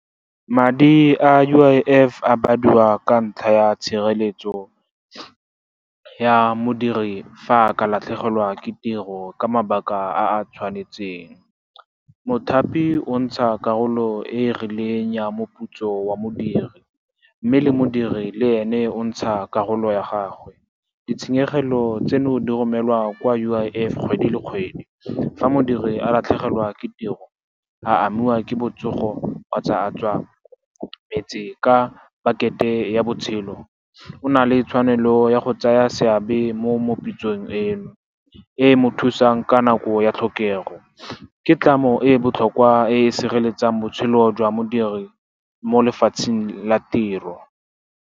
Madi a U_I_F a badiwa ka ntlha ya tshireletso ya modiri fa a ka latlhegelwa ke tiro ka mabaka a a tshwanetseng. Mothapi o ntsha karolo e e rileng ya moputso wa modiri, mme le modiri le ene o ntsha karolo ya gagwe. Ditshenyegelo tseno di romelwa kwa U_I_F kgwedi le kgwedi. Fa modiri a latlhegelwa ke tiro, a amiwa ke botsogo, kgotsa a tswa metse ka pakete ya botshelo, o na le tshwanelo ya go tsaya seabe mo pitsong eno e e mo thusang ka nako ya tlhokego. Ke tlamo e botlhokwa e sireletsang botshelo jwa modiri mo lefatsheng la tiro.